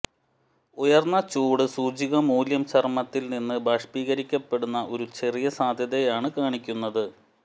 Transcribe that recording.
ഉയർന്ന ചൂട് സൂചിക മൂല്യം ചർമ്മത്തിൽ നിന്ന് ബാഷ്പീകരിക്കപ്പെടുന്ന ഒരു ചെറിയ സാധ്യതയാണ് കാണിക്കുന്നത്